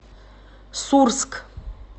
сурск